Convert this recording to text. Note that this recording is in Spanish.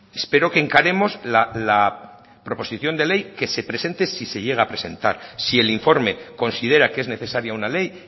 espero que encaremos la proposición de ley que se presente si se llega a presentar si el informe considera que es necesaria una ley